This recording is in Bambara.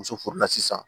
Muso furula sisan